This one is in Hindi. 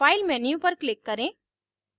file menu पर click करें